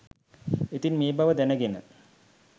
ඉතින් මේ බව දැනගෙන